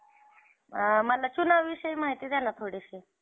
आम्हाला लक्षातच येईना. एकदम असं सगळी गाढ झोपलेलीत रे.